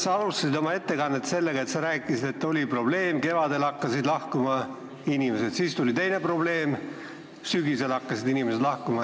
Sa alustasid oma ettekannet sellega, et rääkisid, et oli probleem: kevadel hakkasid inimesed lahkuma, siis tuli teine probleem, sügisel hakkasid inimesed lahkuma.